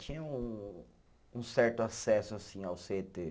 Tinha um um certo acesso, assim, ao cê tê.